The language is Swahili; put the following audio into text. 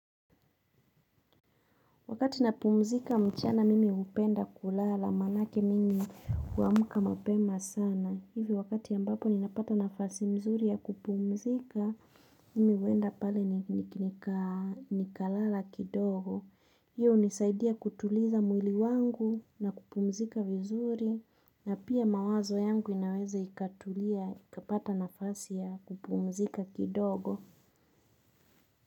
Wakati napumzika mchana mimi hupenda kulala, maanake mimi huamuka mapema sana. Hivi wakati ambapo ninapata nafasi mzuri ya kupumzika, mimi huenda pale nikalala kidogo. Hiyo hunisaidia kutuliza mwili wangu na kupumzika vizuri na pia mawazo yangu inaweza ikatulia, ikapata nafasi ya kupumzika kidogo.